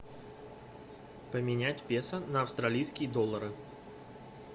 поменять песо на австралийские доллары